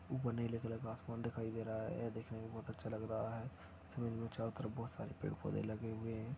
ऊपर नीले कलर का आसमान दिखाई दे रहा है यह देखने मे बहुत अच्छा लग रहा है जमीन मे चारों तरफ बहुत सारे पेड़ पौधे लगे हुए है।